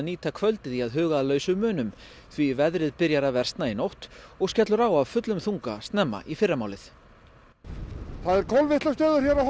nýta kvöldið í að huga að lausum munum því veðrið byrjar að versna í nótt og skellur á af fullum þunga snemma í fyrramálið það er kolvitlaust veður hér á